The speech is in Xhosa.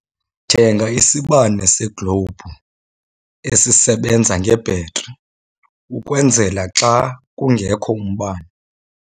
Thenga isibane seglowubhu esisebenza ngebhetri ukwenzela xa kungekho mbane.